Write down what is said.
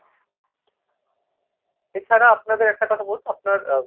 এছাড়া আপনাদের একটা কথা বলুন তো আপনার আহ